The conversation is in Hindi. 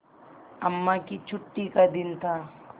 अम्मा की छुट्टी का दिन था